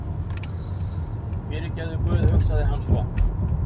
Fyrirgefðu guð, hugsaði hann svo.